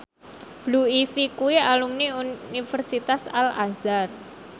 Blue Ivy kuwi alumni Universitas Al Azhar